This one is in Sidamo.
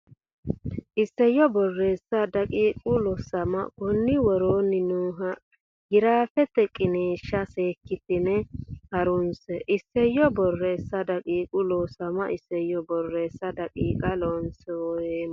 Isayyo Borreessa daqiiqa Looseemma konni woroonni nooha giraafete qiniishsha seekkitine ha runse Isayyo Borreessa daqiiqa Looseemma Isayyo Borreessa daqiiqa Looseemma.